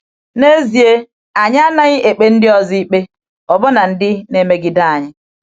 N’ezie, anyị anaghị ekpe ndị ọzọ ikpe, ọbụna ndị na-emegide anyị.